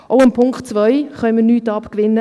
Auch dem Punkt 2 können wir nichts abgewinnen.